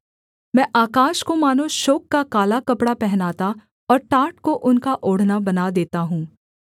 मैं आकाश को मानो शोक का काला कपड़ा पहनाता और टाट को उनका ओढ़ना बना देता हूँ